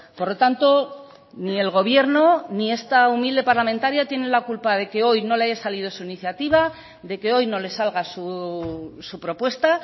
por lo tanto ni el gobierno ni esta humilde parlamentaria tiene la culpa de que hoy no le haya salido su iniciativa de que hoy no le salga su propuesta